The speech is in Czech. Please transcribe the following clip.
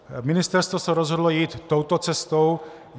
Ministerstvo se rozhodlo jít touto cestou.